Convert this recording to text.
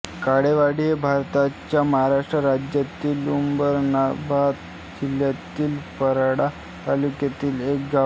काळेवाडी हे भारताच्या महाराष्ट्र राज्यातील उस्मानाबाद जिल्ह्यातील परांडा तालुक्यातील एक गाव आहे